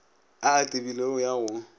a a tebilego ya go